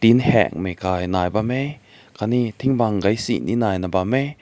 me heng kai bam nai heh aakat ne ting bak gai se ne bam.